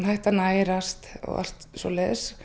hætti að nærast